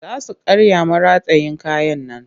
Za su karya maratayin kayan nan